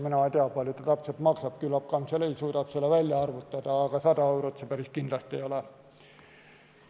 Mina ei tea, kui palju ta täpselt maksab, küllap kantselei suudab selle välja arvutada, aga 100 eurot see päris kindlasti ei ole.